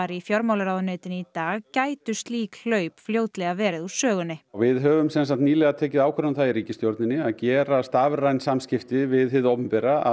í fjármálaráðuneytinu í dag gætu slík hlaup fljótlega verið úr sögunni við höfum sem sagt nýlega tekið ákvörðun um það í ríkisstjórninni að gera rafræn samskipti við hið opinbera að